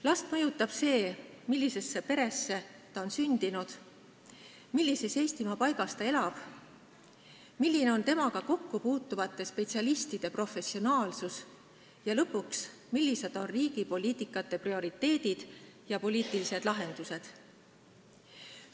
Last mõjutab see, millisesse peresse ta on sündinud, millises Eestimaa paigas ta elab, milline on temaga kokkupuutuvate spetsialistide professionaalsus, ja lõpuks see, millised on riigi poliitilised prioriteedid ja lahendused.